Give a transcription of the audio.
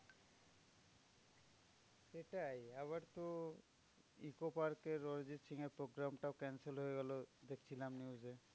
সেটাই আবার তো ইকোপার্কের অরিজিৎ সিংয়ের program টাও cancel হয়ে গেলো। দেখছিলাম news এ।